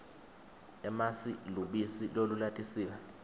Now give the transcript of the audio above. emasi lubisi lolulatisiwe